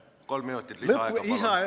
Kolm minutit lisaaega, palun!